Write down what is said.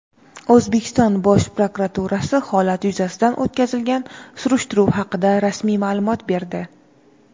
O‘zbekiston Bosh prokuraturasi holat yuzasidan o‘tkazilgan surishtiruv haqida rasmiy ma’lumot berdi.